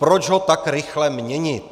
Proč ho tak rychle měnit?